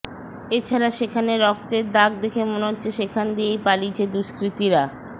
এছাড়া সেখানে রক্তের দাগদেখে মনে হচ্ছে সেখান দিয়েই পালিয়েছে দুস্কৃতিরা